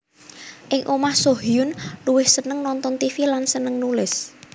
Ing omah Soo Hyun luwih seneng nonton tv lan seneng nulis